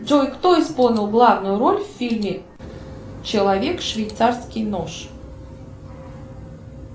джой кто исполнил главную роль в фильме человек швейцарский нож